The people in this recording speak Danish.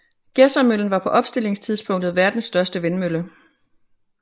Gedsermøllen var på opstillingstidspunktet verdens største vindmølle